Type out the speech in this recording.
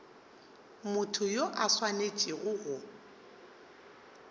motho yo a swanetšego go